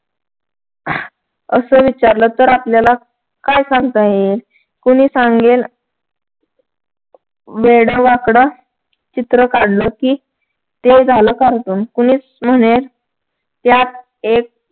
असं विचारलं तर आपल्याला काय सांगता येईल कोणी सांगेल वेडवाकड चित्र काढले की ते झालं cartoon कोणीच म्हणेल यात एक